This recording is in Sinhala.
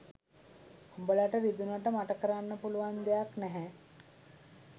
උඹලට රිදුනට මට කරන්න පුළුවන් දෙයක් නැහැ